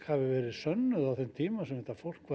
hafi verið sönnuð á þeim tíma sem þetta fólk